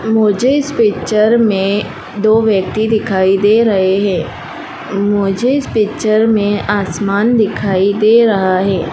मुझे इस पिक्चर में दो व्यक्ति दिखाई दे रहे है मुझे इस पिक्चर में आसमान दिखाई दे रहा है।